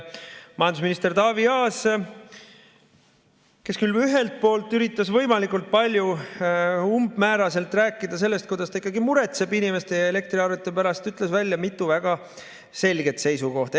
Majandusminister Taavi Aas, kes küll ühelt poolt üritas võimalikult umbmääraselt rääkida sellest, kuidas ta ikkagi muretseb inimeste ja elektriarvete pärast, ütles välja mitu väga selget seisukohta.